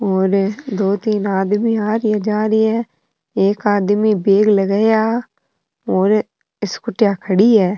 और ये दो तीन आदमी आ रिया जा रहिये है एक आदमी बेग लगाया और स्कुटिया खड़ी है।